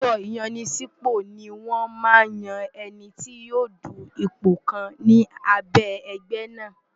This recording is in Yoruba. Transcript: Ní ọjọ́ ìyanisípò ni wọ́n máa ń yan ẹni tí yóò du ipò kan ni abẹ́ ẹgbẹ́ náà.